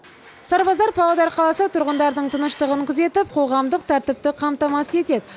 сарбаздар павлодар қаласы тұрғындарының тыныштығын күзетіп қоғамдық тәртіпті қамтамасыз етеді